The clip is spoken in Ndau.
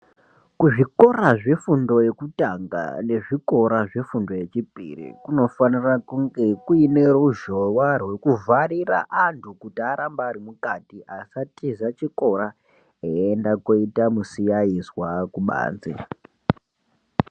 Kuzvikora zvefundo yekutanga nezvikora zvefundo yechipiri kunofanira kunge kuine ruzhowa rwekuvharira antu kuti arambe ari mukati asatiza chikora eienda kooita musiyaizwa kubanze.